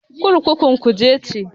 Kurkukun Kuje ce.